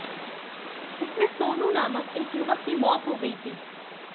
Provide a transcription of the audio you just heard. इसमें सोनू नामक एक युवक की मौत हो गई थी